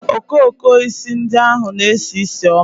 Okooko osisi ndị ahụ na-esi ísì ọma